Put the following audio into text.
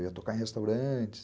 Eu ia tocar em restaurantes.